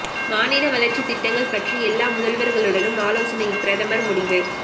மாநில வளர்ச்சி திட்டங்கள் பற்றி எல்லா முதல்வர்களுடன் ஆலோசனை பிரதமர் முடிவு